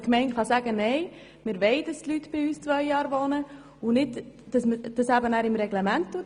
Die Gemeinde kann sagen «Nein, wir wollen, dass die Leute zwei Jahre bei uns wohnen» und klärt das im Reglement.